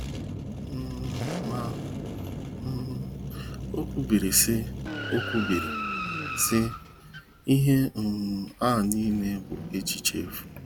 um Ma um o kwubiri sị, o kwubiri sị, " Ihe um a nile bụ echiche efu